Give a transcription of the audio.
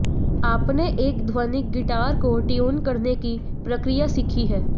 आपने एक ध्वनिक गिटार को ट्यून करने की प्रक्रिया सीखी है